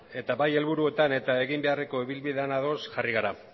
eta bai helburuetan eta egin beharreko ibilbidean ados jarri gara